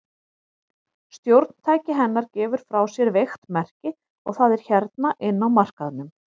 Stjórntæki hennar gefur frá sér veikt merki, og það er hérna inni á markaðnum.